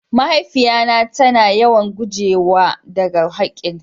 Mahaifiya na ta na yawan gujewa da ga hakin ta.